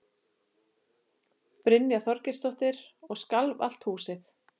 Brynja Þorgeirsdóttir: Og skalf allt húsið?